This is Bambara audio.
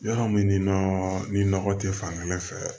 Yɔrɔ min nɔ ni nɔgɔ tɛ fankelen fɛ